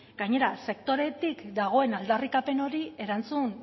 gainera sektoretik dagoen aldarrikapen hori erantzun